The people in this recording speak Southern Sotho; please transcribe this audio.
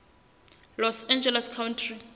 los angeles county